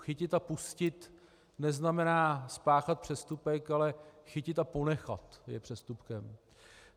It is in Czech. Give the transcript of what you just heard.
Chytit a pustit neznamená spáchat přestupek, ale chytit a ponechat je přestupkem.